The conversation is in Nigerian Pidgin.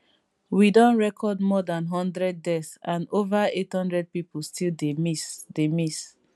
we don record more dan one hundred deaths and ova 800 pipo still dey miss dey miss